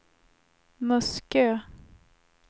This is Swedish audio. Muskö